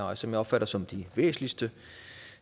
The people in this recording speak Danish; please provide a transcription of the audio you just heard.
og som jeg opfatter som de væsentligste